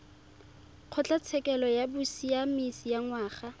kgotlatshekelo ya bosiamisi ya ngwana